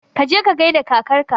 Kaje ka gaida kakarka